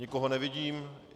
Nikoho nevidím.